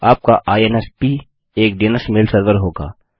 आपका इन्स्प एक डीएनएस मेल सर्वर होगा